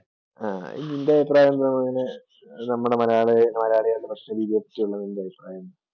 ആ നിൻ്റെ അഭിപ്രായമെന്താണ് അങ്ങനെ നമ്മുടെ മലയാമലയാളികളുടെ ഭക്ഷണ രീതിയെ പറ്റിയുള്ള നിൻ്റെ അഭിപ്രായം?